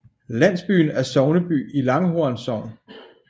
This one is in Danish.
Landsbyen er sogneby i Langhorn Sogn